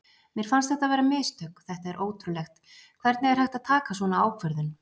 Mér fannst þetta vera mistök, þetta er ótrúlegt, hvernig er hægt að taka svona ákvörðun?